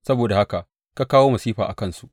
Saboda haka ka kawo masifa a kansu.